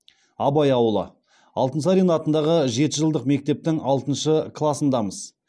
абай ауылы алтынсарин атындағы жеті жылдық мектептің алтыншы класындамыз